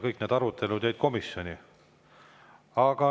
Kõik need arutelud jäid komisjoni.